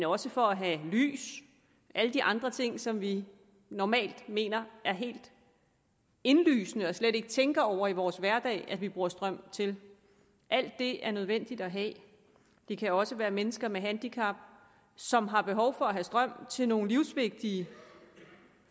også for at have lys og alle de andre ting som vi normalt mener er helt indlysende og slet ikke tænker over i vores hverdag bruger strøm til alt det er det nødvendigt at have det kan også være mennesker med handicap som har behov for at have strøm til nogle livsvigtige